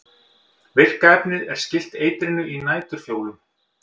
virka efnið er skylt eitrinu í næturfjólum